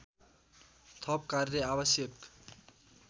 थप कार्य आवश्यक